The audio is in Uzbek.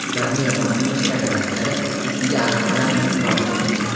ularni yomon qilmishlari daftari ustiga afv qalamini tortdim.